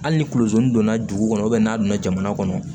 Hali ni kulozi donna dugu kɔnɔ n'a donna jamana kɔnɔ